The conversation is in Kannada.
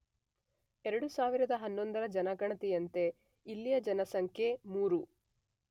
೨೦೧೧ರ ಜನಗಣತಿಯಂತೆ ಇಲ್ಲಿಯ ಜನಸಂಖ್ಯೆ ೩